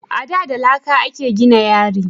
A da da laƙa a ke gina yari